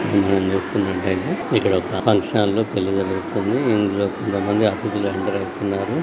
ఇక్కడ మనం చూస్తున్నట్లు అయితే ఇక్కడ ఒక ఫంక్షన్ హాల లో పిల్లలు లతోని ఇందులోకి మళ్ళీ అతిధులు ఎంటర్ అవుతున్నారు.